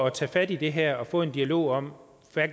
at tage fat i det her og få en dialog om